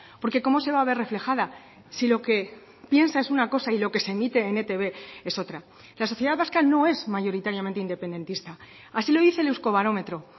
porque cómo se va a ver reflejada si lo que piensa es una cosa y lo que se emite en etb es otra la sociedad vasca no es mayoritariamente independentista así lo dice el euskobarometro